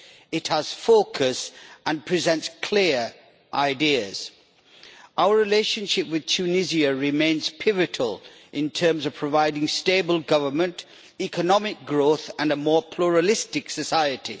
It has focus and presents clear ideas. Our relationship with Tunisia remains pivotal in terms of providing stable government, economic growth and a more pluralistic society.